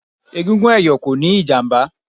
Egungun ẹ̀yọ̀ kò níí ìjàmbá